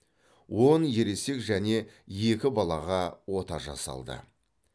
он ересек және екі балаға ота жасалды